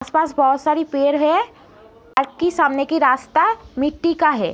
आसपास बहुत सारे पेड़ है और सामने का रास्ता मिटटी का है।